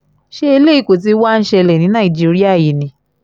ṣé eléyìí kọ́ tí wàá ń ṣẹlẹ̀ ní nàìjíríà yìí ni